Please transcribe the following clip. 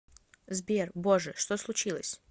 сбер боже что случилось